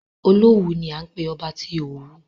Olówù ni à ń pé ọba tí Òwu.